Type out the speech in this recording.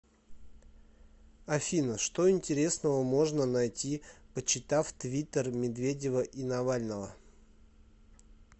афина что интересного можно найти почитав твиттер медведева и навального